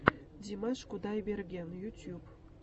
димаш кудайберген ютуб